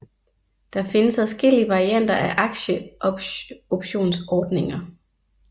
Der findes adskillige varianter af aktieoptionsordninger